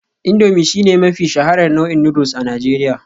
Indomie shine mafi shaharar nau'in noodles a Najeriya